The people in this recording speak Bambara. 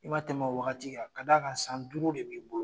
I ma tɛmɛn o waati kan, ka d'a kan san duuru de b'i bolo